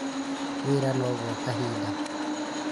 Wĩra no gwa kahinda